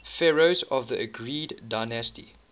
pharaohs of the argead dynasty